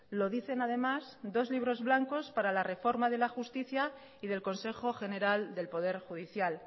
lo dicen además dos libros blancos para la reforma de la justicia y del consejo general del poder judicial